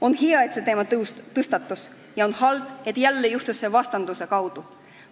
On hea, et see teema tõstatus, ja on halb, et jälle juhtus see vastanduse kaudu.